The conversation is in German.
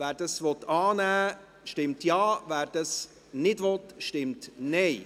Wer dies annehmen will, stimmt Ja, wer dies nicht will, stimmt Nein.